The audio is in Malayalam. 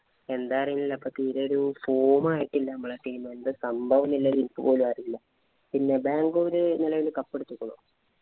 എന്താന്നറിയില്ല. തീരെ ഒരു form ആയിട്ടില്ല നമ്മടെ team എന്താ സംഭവം എന്നുല്ലേ എനിക്ക് പോലുമറിയില്ല. പിന്നെ ബാംഗ്ലൂര് നിലവില് cup അടിച്ചിരിക്കണോ?